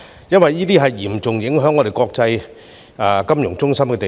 因為這將嚴重影響我們作為國際金融中心的地位。